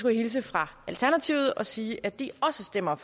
jeg hilse fra alternativet og sige at de også stemmer